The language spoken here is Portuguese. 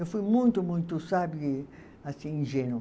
Eu fui muito, muito, sabe, assim, ingênua.